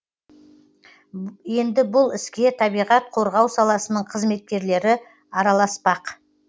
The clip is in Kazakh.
енді бұл іске табиғат қорғау саласының қызметкерлері араласпақ